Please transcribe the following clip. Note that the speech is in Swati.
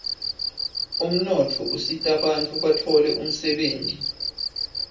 umnotfo usitabantfu batfole umsebenti